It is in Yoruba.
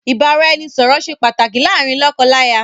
Ìbáraẹnisọ̀rọ̀ ṣe pàtàkì láàárín lọ́kọ láya